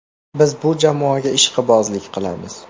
Biz bu jamoaga ishqibozlik qilamiz.